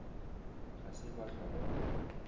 ga se ba hlwa ba